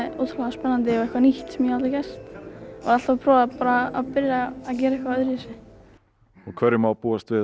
ótrúlega spennandi og eitthvað nýtt sem ég hafði aldrei gert alltaf að prófa að gera eitthvað öðruvísi og hverju má búast við